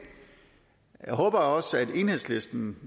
jeg håber også enhedslisten